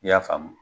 I y'a faamu